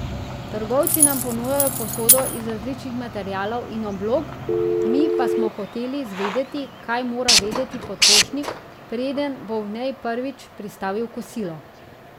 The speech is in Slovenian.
Trgovci nam ponujajo posodo iz različnih materialov in oblog, mi pa smo hoteli zvedeti, kaj mora vedeti potrošnik, preden bo v njej prvič pristavil kosilo.